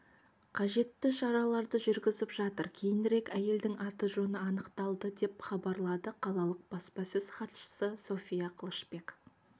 қажетті шараларды жүргізіп жатыр кейінірек әйелдің аты-жөні анықталды деп хабарлады қалалық баспасөз хатшысы софья қылышбек